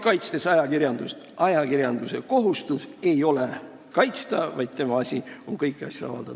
Kaitsen veel kord ajakirjandust: tema kohustus ei ole kaitsta, vaid tema asi on kõiki asju avaldada.